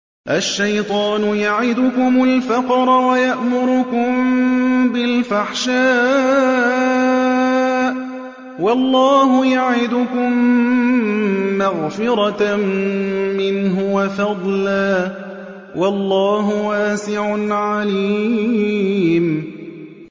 الشَّيْطَانُ يَعِدُكُمُ الْفَقْرَ وَيَأْمُرُكُم بِالْفَحْشَاءِ ۖ وَاللَّهُ يَعِدُكُم مَّغْفِرَةً مِّنْهُ وَفَضْلًا ۗ وَاللَّهُ وَاسِعٌ عَلِيمٌ